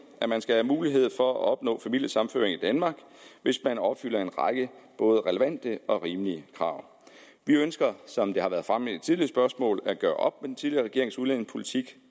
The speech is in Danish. at man skal have mulighed for at opnå familiesammenføring i danmark hvis man opfylder en række både relevante og rimelige krav vi ønsker som det har været fremme tidligere spørgsmål at gøre op med den tidligere regerings udlændingepolitik